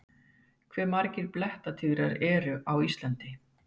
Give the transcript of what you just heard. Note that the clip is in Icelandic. Hve margir blettatígrar eru á Íslandi?